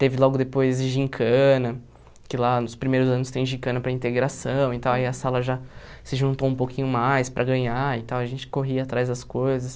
Teve logo depois gincana, que lá nos primeiros anos tem gincana para integração e tal, aí a sala já se juntou um pouquinho mais para ganhar e tal, a gente corria atrás das coisas.